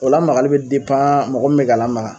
O lamarali be mɔgɔ min be k'a lamaga